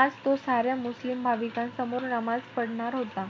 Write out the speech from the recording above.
आज तो साऱ्या मुस्लिम भाविकांसमोर नमाज पढनार होता.